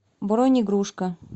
бронь игрушка